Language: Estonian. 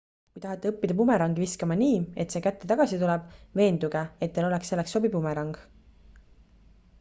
kui tahate õppida bumerangi viskama nii et see kätte tagasi tuleb veenduge et teil oleks selleks sobiv bumerang